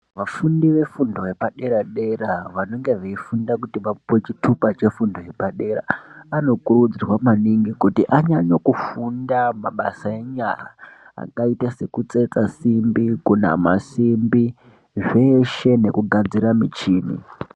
Vafundi vefundo yepadera dera vanenge veifunda kuti vapuwe chitupa chefundo yepadera anokurudzirwa maningi kuti anyanye kufunda pamabasa enyara akaita sekutsetsa simbi kunamé simbi zveshe nekugadzire muchini.